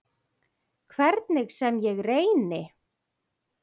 Hvernig sem ég reyni.